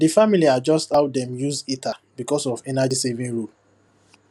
the family adjust how dem use heater because of energysaving rule